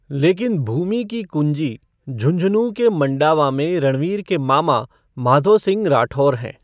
लेकिन भूमि की कुंजी झुंझुनू के मंडावा में रणवीर के मामा माधो सिंह राठौर हैं।